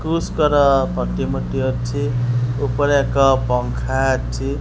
କୃଶଙ୍କର ପ୍ରତିମୂର୍ତ୍ତି ଅଛି ଉପରେ ଏକ ପଙ୍ଖା ଅଛି।